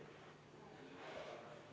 V a h e a e g